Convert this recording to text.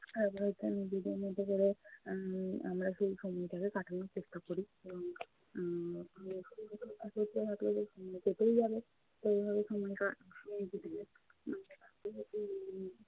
উম আমরা হচ্ছে নিজেদের মতো করে আহ আমরা সেই সময়টাকে কাটানোর চেষ্টা করি এবং কেটেই যাবে। তো এইভাবে সময় টা সময় কেটে যায়